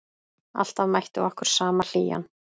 Alltaf mætti okkur sama hlýjan.